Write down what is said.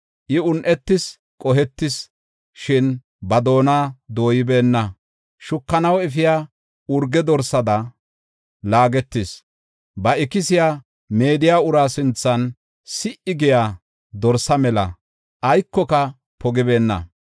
I un7etis; qohetis; shin ba doona dooybeenna. Shukanaw efiya urge dorsada laagetis; ba ikisiya meediya uraa sinthan si77i giya dorsa mela aykoka pogibeenna.